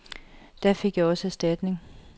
Da fik jeg også erstatning.